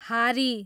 हारी